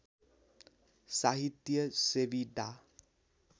साहित्य सेवी डा